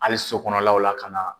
Hali so kɔnɔlaw la ka na